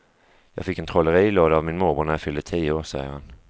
Jag fick en trollerilåda av min morbror när jag fyllde tio år, säger han.